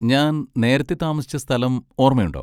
ഞാൻ നേരത്തെ താമസിച്ച സ്ഥലം ഓർമ്മയുണ്ടോ?